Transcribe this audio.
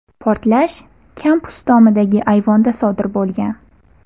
Portlash kampus tomidagi ayvonda sodir bo‘lgan.